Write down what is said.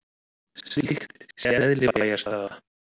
Slíkt sé eðli bæjarstæða